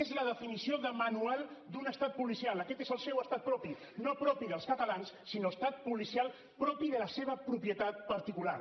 és la definició de manual d’un estat policial aquest és el seu estat propi no propi dels catalans sinó estat policial propi de la seva propietat particular